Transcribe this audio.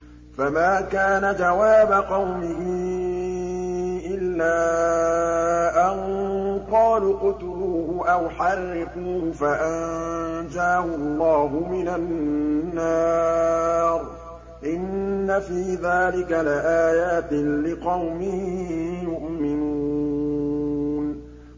فَمَا كَانَ جَوَابَ قَوْمِهِ إِلَّا أَن قَالُوا اقْتُلُوهُ أَوْ حَرِّقُوهُ فَأَنجَاهُ اللَّهُ مِنَ النَّارِ ۚ إِنَّ فِي ذَٰلِكَ لَآيَاتٍ لِّقَوْمٍ يُؤْمِنُونَ